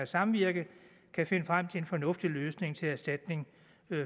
samvirke kan finde frem til en fornuftig løsning til erstatning